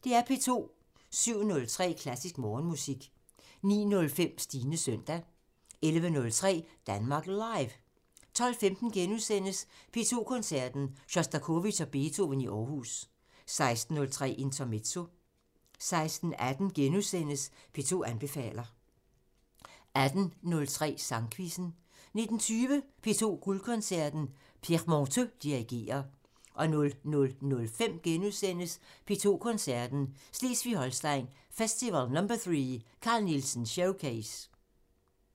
07:03: Klassisk Morgenmusik 09:05: Stines søndag 11:03: Danmark Live 12:15: P2 Koncerten – Sjostakovitj og Beethoven i Aarhus * 16:03: Intermezzo 16:18: P2 anbefaler * 18:03: Sangquizzen 19:20: P2 Guldkoncerten – Pierre Monteux dirigerer 00:05: P2 Koncerten – Slesvig-Holsten Festival #3 – Carl Nielsen showcase *